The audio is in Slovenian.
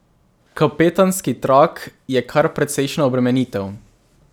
Kapetanski trak je kar precejšnja obremenitev.